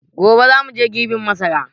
Gobe za mu je girbin masara.